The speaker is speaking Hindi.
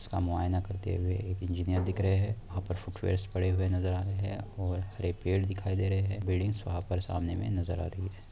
इसका मुआयना करते हुए एक इंजीनियर दिख रहे हैं । वहां पर फुटवेयर्स पड़े हुए नजर आ रहे हैं और हरे पेड़ दिखाई दे रहे हैं । बिल्डिंग्स वहां पर सामने में नजर आ रही है।